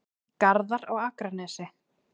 Garðar á Akranesi.